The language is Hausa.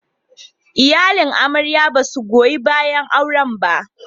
Iyalin amarya ba su goyi bayan auren ba.